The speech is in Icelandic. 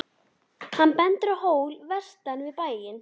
Hann bendir á hól vestan við bæinn.